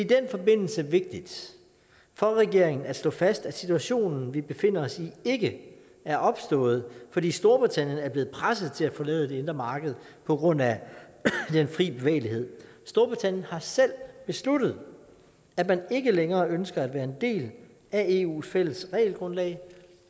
den forbindelse vigtigt for regeringen at slå fast at situationen vi befinder os i ikke er opstået fordi storbritannien er blevet presset til at forlade det indre marked på grund af den fri bevægelighed storbritannien har selv besluttet at man ikke længere ønsker at være en del af eus fælles regelgrundlag